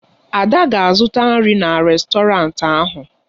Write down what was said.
Ada ga-azụta nri na rèstọrantị ahụ.